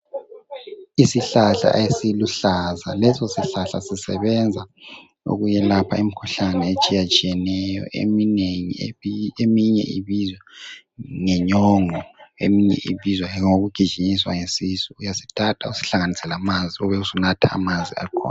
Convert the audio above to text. Isihlahla esiluhlaza, lesosihlahla sisebenza ukwelapha imikhuhlane etshiyetshiyeneyo eminengi eminye ebizwa ngenyongo, eminye ibizwa ngokugijinyiswa yisisu. Uyasithatha usihlanganise lamanzi ubusunatha amanzi akhona.